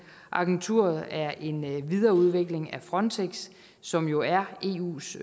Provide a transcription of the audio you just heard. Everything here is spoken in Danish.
agenturet er en videreudvikling af frontex som jo er eus